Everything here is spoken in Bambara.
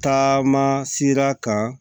Taama sera ka